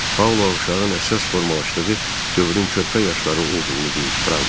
Paula uşağın əsas formalaşdığı dövrün körpə yaşları olduğunu deyib Franka.